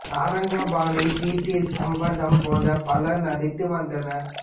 Sarangapani P D Sambandham போன்ற பலர் நடித்து வந்தனர்